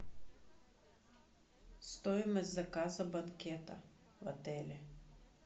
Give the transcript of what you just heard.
стоимость заказа банкета в отеле